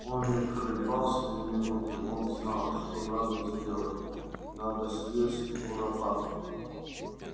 он не колебался ни минуты он знал что надо сделать надо съесть куропатку